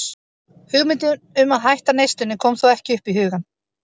Hugmyndin um að hætta neyslunni kom þó ekki upp í hugann.